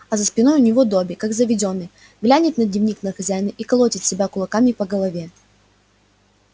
а за спиной у него добби как заведённый глянет на дневник на хозяина и колотит себя кулаками по голове